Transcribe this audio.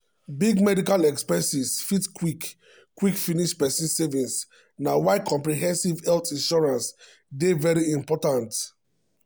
big medical expenses fit quick quick finish person savings na why comprehensive health insurance dey very important.